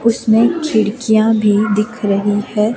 उसमें खिड़कियाँ भी दिख रही है।